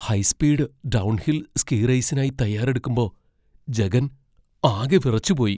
High speed downhill ski റേസിനായി തയ്യാറെടുക്കുമ്പോ ജഗൻ ആകെ വിറച്ചുപോയി .